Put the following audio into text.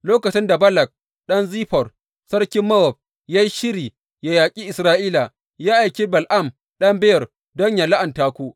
Lokacin da Balak ɗan Ziffor, sarkin Mowab, ya yi shiri yă yaƙi Isra’ila, ya aiki Bala’am ɗan Beyor don yă la’anta ku.